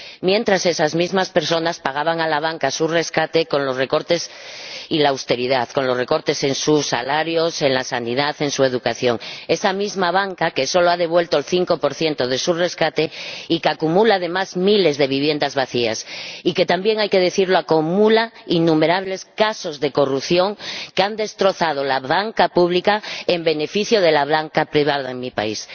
Mientras, esas mismas personas pagaban a la banca su rescate con los recortes y la austeridad con los recortes en sus salarios, en su sanidad, en su educación. Esa misma banca que solo ha devuelto el 5 de su rescate y que acumula, además, miles de viviendas vacías y que —también hay que decirlo— acumula innumerables casos de corrupción que han destrozado la banca pública en beneficio de la banca privada en mi país.